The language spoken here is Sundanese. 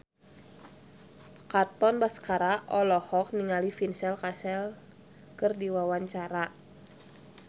Katon Bagaskara olohok ningali Vincent Cassel keur diwawancara